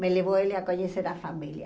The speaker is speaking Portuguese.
Me levou ele a conhecer a família.